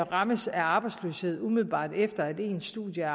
rammes af arbejdsløshed umiddelbart efter ens studium